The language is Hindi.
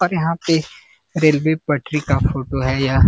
और यहां पे रेलवे पटरी का फोटो है यह।